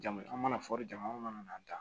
Jama an mana fɔli jama mana taa